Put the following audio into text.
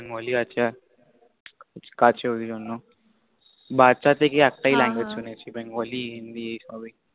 Bengali আছে কাজের জন্য বাচ্চা থেকে একটাই Language শুনেছি Bengali হিন্দি এই সবেই